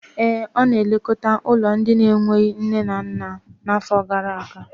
Ee, ọ nọ na-elekọta ụlọ ụmụ ndị na-enweghị nne na nna n'afọ gara aga.